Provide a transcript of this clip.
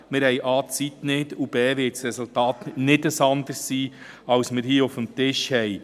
Erstens haben wir die Zeit nicht, und zweitens wird das Resultat nicht anders ausfallen als dasjenige, das hier auf dem Tisch liegt.